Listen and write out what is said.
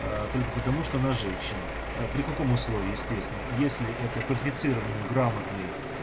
а только потому что она женщина при каком условии естественно если это квалифицированный грамотный